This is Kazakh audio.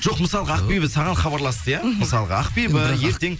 жоқ мысалға ақбибі саған хабарласты иә мхм мысалға ақбибі ертең